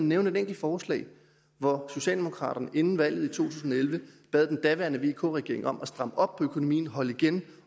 nævne et enkelt forslag hvor socialdemokraterne inden valget i to tusind og elleve bad den daværende vk regering om at stramme op på økonomien holde igen